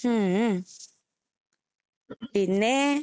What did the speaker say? ഹും ഉം പിന്നേ